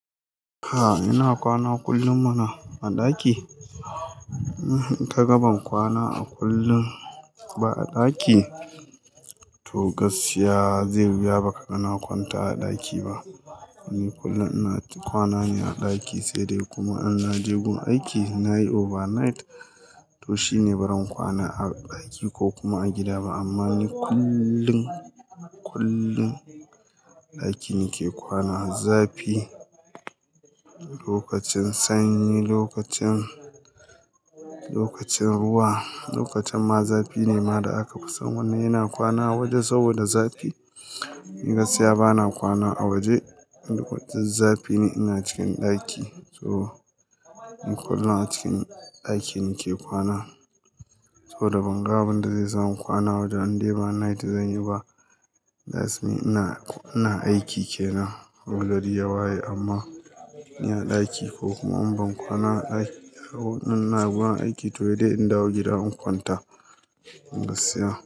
A'a ina kwana kullum muna a ɗaki. Hm, ita kaga ban kwana a kullum ba a ɗaki. To gaskiya zai wuya ba ka ga na kwanta a ɗaki ba. Ni kullum ina kwana ne a ɗaki sai dai kuma an na je gun aiki na yi overnight to shine baran kwana a ɗaki ko kuma a gida ba amma ni kullum, kullum ɗaki nake kwana. Zafi, lokacin sanyi, lokacin, lokacin ruwa, lokacin ma zafi ne ma da aka fi san wani yana kwana a waje saboda zafi. Ni gaskiya bana kwana a waje idan duk zafi ne ina cikin ɗaki. To ni kullum a cikin ɗaki nake kwana. To da ban ga abinda zai sa mu kwana waje an dai ba night zan yi ba. That's mean ina, ina aiki kenan ya waye amma ina ɗaki ko kuma in ban kwana a ɗaki da, ina gun aiki toh dai in dawo gida in kwanta. Gaskiya.